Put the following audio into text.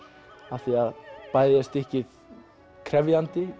af því að bæði er stykkið krefjandi